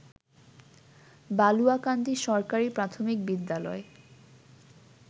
বালুয়াকান্দি সরকারি প্রাথমিক বিদ্যালয়